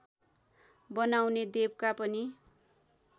बनाउने देवका पनि